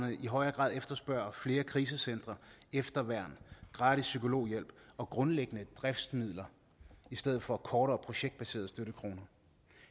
i højere grad efterspørger flere krisecentre efterværn gratis psykologhjælp og grundlæggende driftsmidler i stedet for kortere projektbaserede støttekroner